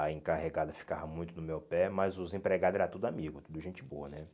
A encarregada ficava muito no meu pé, mas os empregados era tudo amigos, tudo gente boa né.